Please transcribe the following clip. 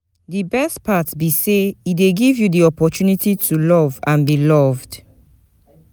di best part be say e dey give you di opportunity to love and be loved.